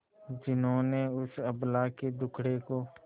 जिन्होंने उस अबला के दुखड़े को